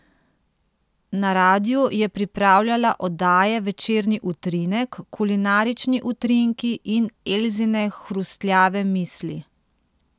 Na radiu je pripravljala oddaje Večerni utrinek, Kulinarični utrinki in Elzine hrustljave misli.